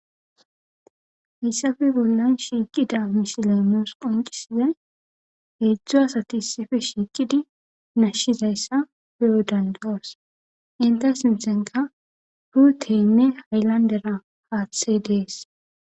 Hessafe bollan shiiqida misilemoos qonqisizay heedzdzu asati issife shiiqidi nashshizayssa pe7o dandawos inte simsenka huuteynne haylandera haaththey dees.